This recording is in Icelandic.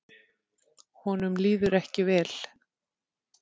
Honum líður ekki vel.